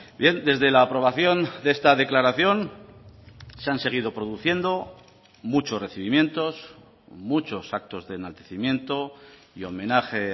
bien desde la aprobación de esta declaración se han seguido produciendo muchos recibimientos muchos actos de enaltecimiento y homenaje